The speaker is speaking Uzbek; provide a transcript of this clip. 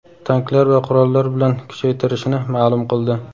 tanklar va qurollar bilan kuchaytirishini ma’lum qildi,.